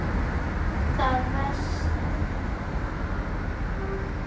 Það venst.